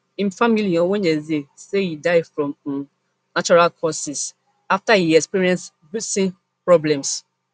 im family on wednesday say e die from um natural causes afta e experience breathing problems